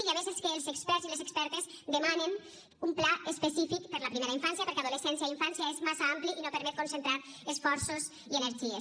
i a més és que els experts i les expertes demanen un pla específic per la primera infància perquè adolescència i infància és massa ampli i no permet concentrar esforços i energies